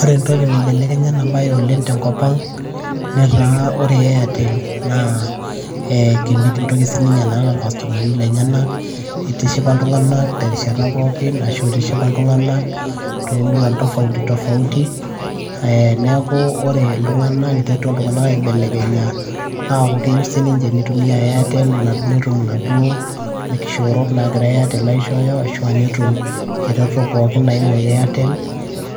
Ore entoki naibelekenya ena baye oleng' tenkop ang' netaa ore airtel naa itishipa iltung'anak terishata pookin ashu itishipa iltung'anak toomuruan tofauti tofauti ee neeku ore iltung'anak niterutua iltung'anak aibelekenya aaku keyieu sininche nitumia airtel netum inaduoo kishoorot naagira airtel aishooyo ashu aa netum iretoto pookin naaimu airtel